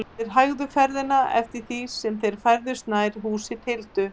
Þeir hægðu ferðina eftir því sem þeir færðust nær húsi Tildu.